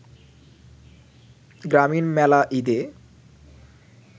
গ্রামীণ মেলা ঈদে